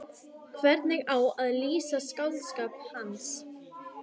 Hvernig á að lýsa skáldskap hans?